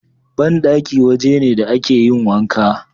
Banɗaki waje ne da a ke yin wanka